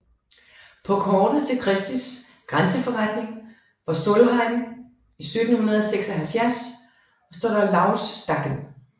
På kortet til Christies grænseforretning for Solheim i 1776 står der Lauvstakken